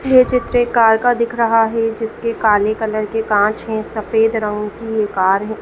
ये चित्र एक कार का दिख रहा है जिसके काले कलर के कांच है सफेद रंग की ये कार है।